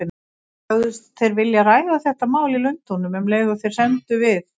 Sögðust þeir vilja ræða þetta mál í Lundúnum, um leið og þeir semdu við